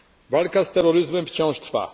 Walka z terroryzmem wciąż trwa.